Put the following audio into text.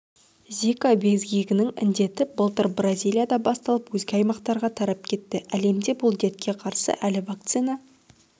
зика безгегінің індеті былтыр бразилияда басталып өзге аймақтарға тарап кетті әлемде бұл дертке қарсы әлі вакцина